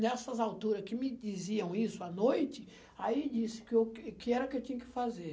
Nessas alturas que me diziam isso à noite, aí disse que eu que era o que eu tinha que fazer.